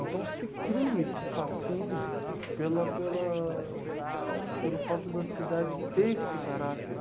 Então se cria esse fascínio pela pela pelo fato da cidade ter esse caráter.